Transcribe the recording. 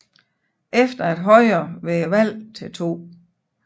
Efter at Højre ved valgene til 2